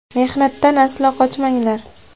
Mehnatdan aslo qochmanglar.